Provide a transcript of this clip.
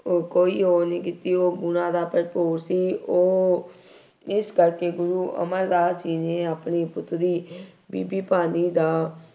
ਉਹ ਕੋਈ ਉਹ ਨਹੀਂ ਕੀਤੀ । ਉਹ ਗੁਣਾਂ ਦਾ ਭਰਪੂਰ ਸੀ। ਉਹ ਇਸ ਕਰਕੇ ਗੁਰੂ ਅਮਰਦਾਸ ਜੀ ਨੇ ਆਪਣੀ ਪੁੱਤਰੀ ਬੀਬੀ ਭਾਨੀ ਦਾ